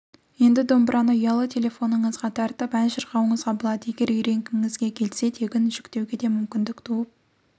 енді домбыраны ұялы телефоныңыздан тартып ән шырқауыңызға болады егер үйренгіңізге келсе тегін жүктеуге де мүмкіндік туып